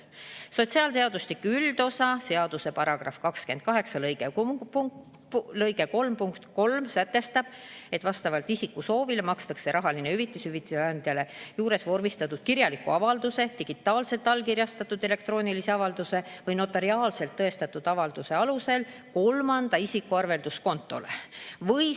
Sotsiaalseadustiku üldosa seaduse § 28 lg 3 punkt 3 sätestab, et vastavalt isiku soovile makstakse rahaline hüvitis hüvitise andja juures vormistatud kirjaliku avalduse, digitaalselt allkirjastatud elektroonilise avalduse või notariaalselt tõestatud avalduse alusel kolmanda isiku arvelduskontole.